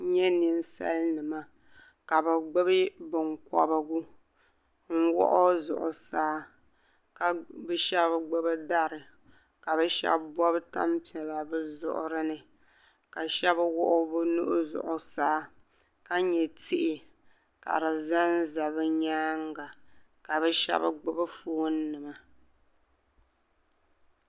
N yɛ ninsali nima ka bi gbubi binkɔbigu n wɔɣɔ Zuɣusaa ka bi ahɛb gbubi dari ka bi shɛbi bobi tani piɛla bi zuɣuri ni ka Shɛbi wuɣi bi nuhi Zuɣusaa ka yɛ tihi ka di zan za bi yɛanga ka bi Shɛbi gbubi ƒoon nima.